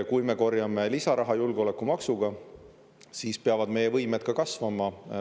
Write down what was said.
Kui me korjame lisaraha julgeolekumaksuga, siis peavad meie võimed ka kasvama.